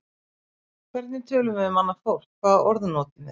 Hvernig tölum við um annað fólk, hvaða orð notum við?